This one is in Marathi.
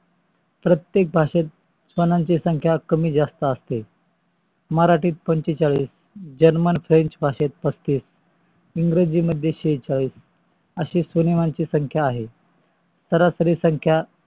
प्रतेक भाषेत स्वनांची संख्या कमी जास्त असते. मरठीत पंचेचाळीस german, french भाषेत पस्तीस इंग्रजीत शेचालीस अशी स्वनिमाची संख्या आहे सरासरी संख्या आहे.